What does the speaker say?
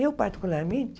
Eu, particularmente...